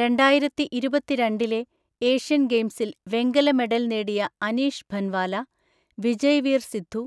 രണ്ടായിരത്തിഇരുപത്തിരണ്ടിലെ Asian ഗെയിംസിൽ വെങ്കല medal നേടിയ അനീഷ് ഭൻവാല, വിജയ്വീർ സിദ്ധു,